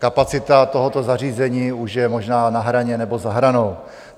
Kapacita tohoto zařízení už je možná na hraně nebo za hranou.